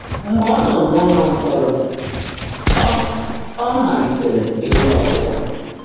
Mgbe ọ́ nọ́ n’ụ́lọ́ mkpọ́rọ́, ọ́ ọ́ máliitèèré ị́gụ́ ákwụ́kwọ́.